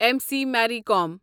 M سی میرۍ قوم